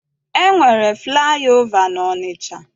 E nwere flaị ova n'Ọnịcha.